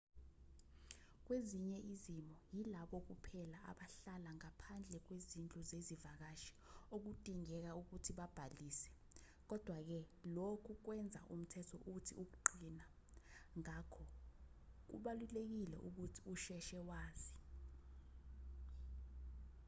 kwezinye izimo yilabo kuphela abahlala ngaphandle kwezindlu zezivakashi okudingeka ukuthi babhalise kodwa-ke lokhu kwenza umthetho uthi ukuqina ngakho kubalulekile ukuthi usheshe wazi